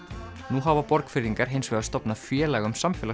nú hafa Borgfirðingar hins vegar stofnað félag um